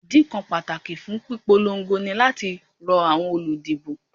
Ìdí kan pàtàkì fún ìpolongo ní láti rọ àwọn olùdìbò